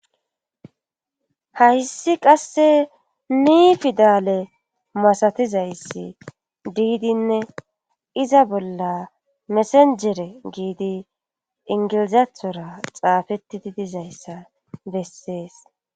hayssi qasse ni fidale masatizayssi diidinne iza bolla mesenjere giidi ingilizathora xaafettidi dizayssa bessees